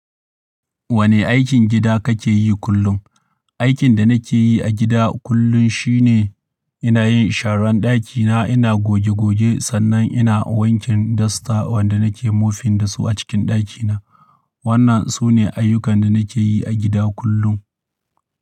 Wane aikin gida kake yi kullum? Aikin da nake yi a gida kullum shi ne ina yin sharan ɗakina, ina goge-goge sannan ina wanke dasta wanda nake mofin da su a cikin ɗakina. Wannan sune ayyukan da nake yi a gida kullum.